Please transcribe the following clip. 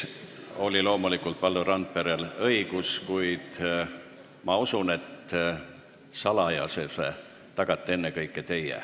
Loomulikult oli Valdo Randperel õigus repliigiks, kuid ma usun, et salajasuse tagate ennekõike teie.